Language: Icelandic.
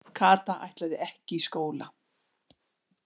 Kata ætlaði ekki í skóla.